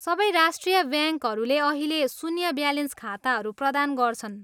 सबै राष्ट्रिय ब्याङ्कहरूले अहिले शून्य ब्यालेन्स खाताहरू प्रदान गर्छन्।